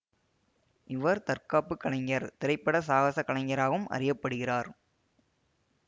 இவர் தற்காப்புக் கலைஞர் திரைப்பட சாகச கலைஞராகவும் அறிய படுகிறார்